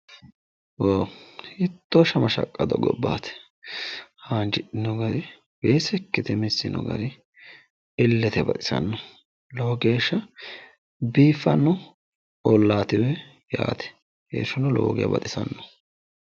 Hiitto shama shaqqado gobbaati haanjidhino gari weese ikkite missino gari illete baxisanno lowo geeshshano biiffanno ollaati yaate irshuno lowo geya baxisanno.